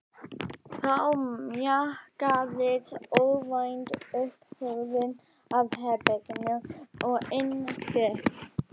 Þá mjakaðist óvænt upp hurðin að herberginu og inn gekk